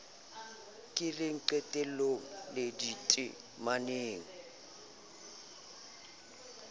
keleng qetelong le dite maneng